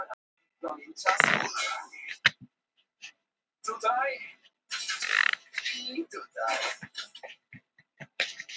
Hafnaði aftan á kyrrstæðum bíl